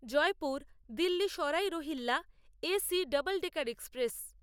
Jaipur Delhi Sarai Rohilla A C double decker express Jaipur Jodhpur intercity express